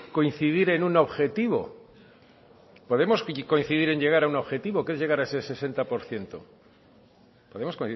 coincidir en un objetivo podemos coincidir en llegar a un objetivo que es llegar a ese sesenta por ciento podemos